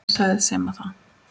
Hver sagði Simma það?